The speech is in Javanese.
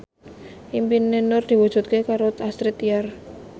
impine Nur diwujudke karo Astrid Tiar